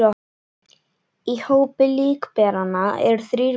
Í hópi líkberanna eru þrír bræður